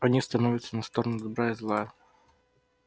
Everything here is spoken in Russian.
они становятся на сторону добра и зла